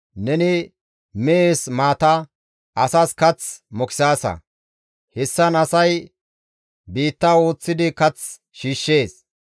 Neni mehes maata, asas kath mokisaasa; hessan asay biitta ooththidi kath shiishshees.